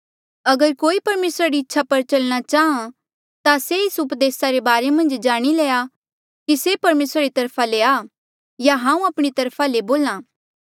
अगर कोई परमेसरा री इच्छा पर चलणा चाहां ता से एस उपदेस रे बारे मन्झ जाणी लेया कि से परमेसरा री तरफा ले आ या हांऊँ आपणी तरफा ले बोल्हा